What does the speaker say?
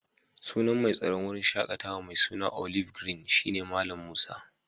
Sunan mai tsaron wurin shakatawa mai suna olive green shina Mallam Musa.